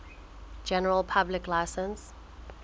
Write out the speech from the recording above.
general public license